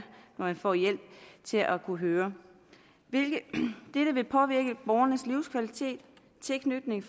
når man får hjælp til at kunne høre dette vil påvirke borgernes livskvalitet tilknytning